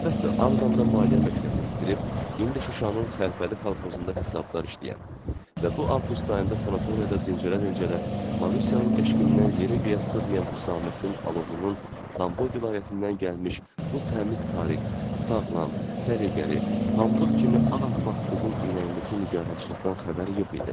Əlbəttə, Ağdamda maliyyə məktəbini bitirib, indi Şuşanın Xəlfəli kolxozunda hesabdar işləyən və bu Avqust ayında sanatoriyada dincələ-dincələ, Marusyanın eşqindən yerə göyə sığmayan Hüsamməddin Alovlunun Tambov vilayətindən gəlmiş bu təmiz Tariq, sağlam, səliqəli, pambıq kimi ağappaq qızın ürəyindəki nigarançılıqdan xəbəri yox idi.